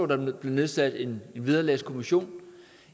der blev nedsat en vederlagskommission